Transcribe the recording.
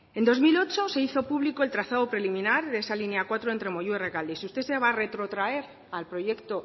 en dos mil ocho se hizo público el trazado preliminar de esa línea cuatro entre moyua y rekalde y si usted se va a retrotraer al proyecto